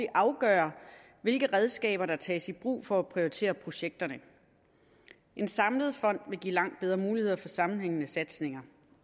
afgør hvilke redskaber der tages i brug for at prioritere projekterne en samlet fond vil give langt bedre muligheder for sammenhængende satsninger